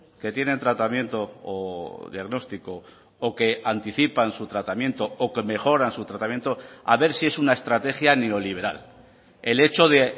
que tienen tratamiento o diagnóstico o que anticipan su tratamiento o que mejoran su tratamiento a ver si es una estrategia neoliberal el hecho de